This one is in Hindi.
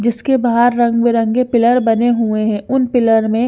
जिसके बहार रंग बिरंगे पिलर बने हुए है उन पिलर में --